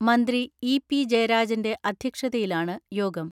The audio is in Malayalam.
മന്ത്രി ഇ.പി ജയരാജന്റെ അധ്യക്ഷതയിലാണ് യോഗം.